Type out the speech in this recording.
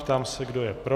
Ptám se, kdo je pro.